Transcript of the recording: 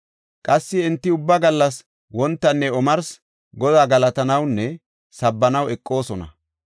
Qassi enti ubba gallas wontanne omarsi Godaa galatanawunne sabbanaw eqoosona.